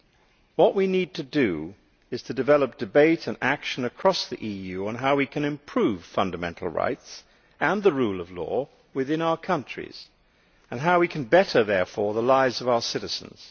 What we need to do is to develop debate and action across the EU on how we can improve fundamental rights and the rule of law within our countries and how we can better, therefore, the lives of our citizens.